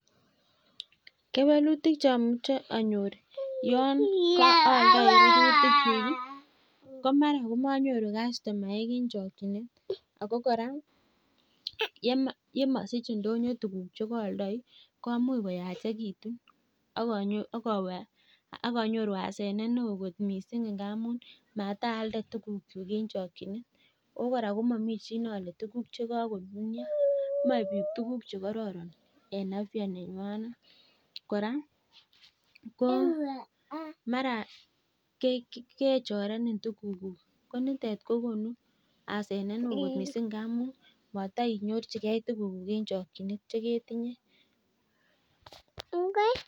kewelutik chonyoche anyoor yoon ioldoi rurutik kyuuk iih ko mara komonyoru kastomaek en chokyinet, ago kora yemasich indonyo tuguuk chegoldoi komuch koyachegitun ak anyoru asenet neo kot mising ngamuun maatlda tuguk chugichen, ooh kora komomii chi neole tuguk chegakonunyo moe biik tuguk chegoron en afya nenywanet, kora komara kechorenin tuguk guuk konitet kogonu asenet neoo kot mising ngamuun motoinyorchigee tuguk guuk en chokyinet chegetinye.